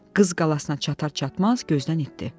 Qız qalasına çatar-çatmaz gözdən itdi.